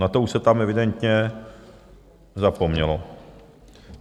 Na to už se tam evidentně zapomnělo.